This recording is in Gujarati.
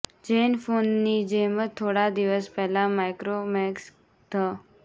ઝેન ફોનની જેમ જ થોડા દિવસ પહેલા માઇક્રોમેક્સ ઘ